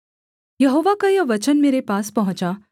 यहोवा का यह वचन मेरे पास पहुँचा